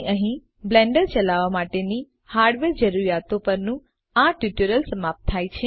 તેથી અહીં બ્લેન્ડર ચલાવવા માટેની હાર્ડવેર જરૂરીયાતો પરનું આ ટ્યુટોરીયલ સમાપ્ત થાય છે